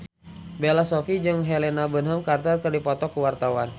Bella Shofie jeung Helena Bonham Carter keur dipoto ku wartawan